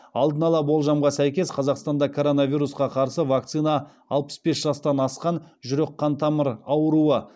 алдын ала болжамға сәйкес қазақстанда коронавирусқа қарсы вакцина алпыс бес жастан асқан жүрек қан тамыры ауруы